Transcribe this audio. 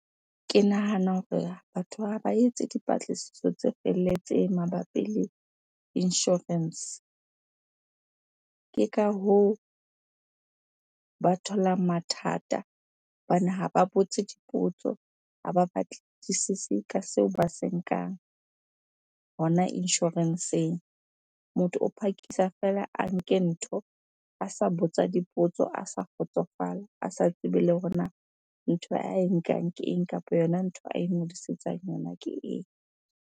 Ke nahana hore batho ha ba etse dipatlisiso tse felletseng mabapi le insurance. Ke ka hoo, ba tholang mathata hobane ha ba botse dipotso, ha ba batlisise ka seo ba se nkang hona insurance-eng. Motho o phakisa feela a nke ntho, a sa botsa dipotso, a sa kgotsofala, a sa tsebe le hore na ntho ae nkang ke eng? Kapa yona ntho a ingodisetsang yona ke eng?